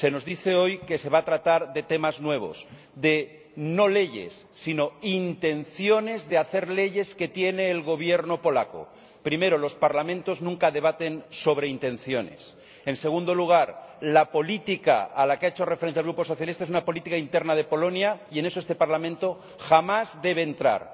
Se nos dice hoy que se va a tratar de temas nuevos, no de leyes, sino de las intenciones de hacer leyes que tiene el Gobierno polaco. En primer lugar, los Parlamentos nunca debaten sobre intenciones. En segundo lugar, la política a la que ha hecho referencia el Grupo Socialista es una política interna de Polonia, y en eso este Parlamento jamás debe entrar.